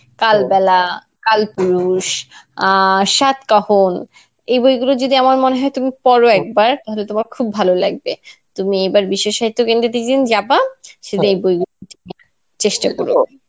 কালবেলা, কালপুরুষ, আ সাতকাহন এই বইগুলো যদি আমার মনেহয় তুমি পড় একবার তাহলে তোমার খুব ভালো লাগবে. তুমি এবার বিশ্ব সাহিত্য কেন্দ্রতে যেদিন যাবা সেদিন বইগুলি চেষ্টা করো.